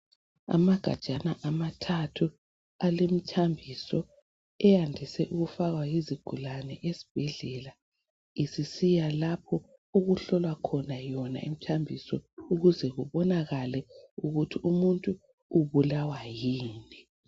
Amagajana amathathu alemithambiso eyandise ukufakwa yizigulane esibhedlela isisiyalapho okuhlolwa khona imithambiso ukuze kubonakale ukuthi umuntu ubulawa yini.